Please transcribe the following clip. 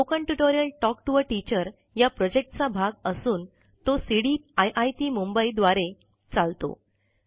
spoken tutorial talk to a teacher या project चा भाग असून तो सीड़ीप आईआईटी मुंबई द्वारे चालतो